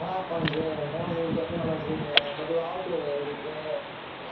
હા પણ જે નવી નવી technology આવતું રહે એવી રીતે